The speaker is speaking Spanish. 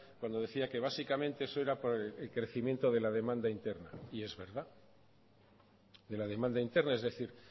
cuando decía que básicamente eso era por el crecimiento de la demanda interna y es verdad de la demanda interna es decir